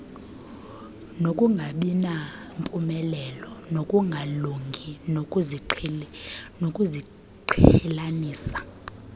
nokungabinampumelelo nokungalungi kokuziqhelanisa